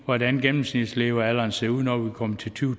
hvordan gennemsnitslevealderen ser ud når vi kommer til to